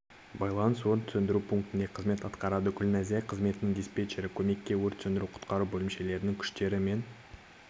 байланыс өрт сөндіру пунктінде қызмет атқарады гүлназия қызметінің диспетчері көмекке өрт сөндіру-құтқару бөлімшелерінің күштер мен